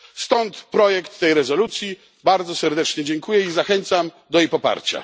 Stąd projekt tej rezolucji. Bardzo serdecznie dziękuję i zachęcam do jej poparcia.